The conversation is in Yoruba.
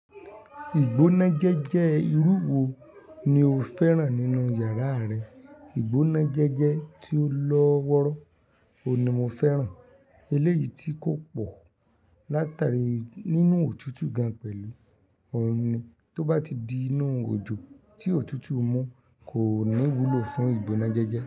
Ìgbónájẹjẹ́ irú wo ni o fẹ́ràn nínú yàrá rẹ? Ìgbónájẹjẹ́ tí ó lọ́ wọ́rọ́ òun ni mo fẹ́ràn. Eléyìí tí kò pọ̀ látàrí nínú òtútù gan pẹ̀lú òun ni. Tó bá ti di inú òjò tí òtútù mú, kò ní wúlò fún ìgbónájẹjẹ́